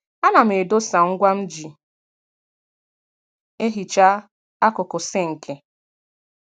A na m edosa ngwa mji ehicha akụkụ sinki